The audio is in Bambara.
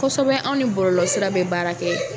Kosɛbɛ anw ni bɔlɔlɔsira bɛ baara kɛ